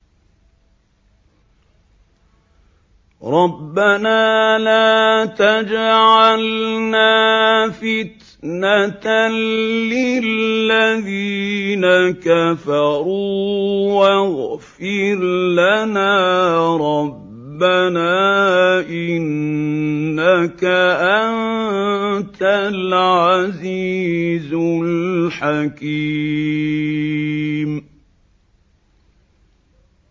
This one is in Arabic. رَبَّنَا لَا تَجْعَلْنَا فِتْنَةً لِّلَّذِينَ كَفَرُوا وَاغْفِرْ لَنَا رَبَّنَا ۖ إِنَّكَ أَنتَ الْعَزِيزُ الْحَكِيمُ